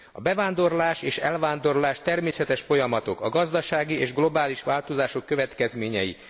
A bevándorlás és elvándorlás természetes folyamatok, a gazdasági és globális változások következményei.